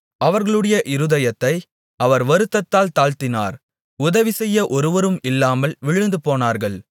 அவர்களுடைய இருதயத்தை அவர் வருத்தத்தால் தாழ்த்தினார் உதவிசெய்ய ஒருவரும் இல்லாமல் விழுந்து போனார்கள்